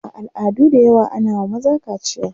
a al'adu da yawa ana wa maza kaciya